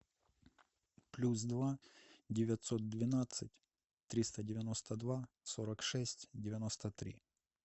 плюс два девятьсот двенадцать триста девяносто два сорок шесть девяносто три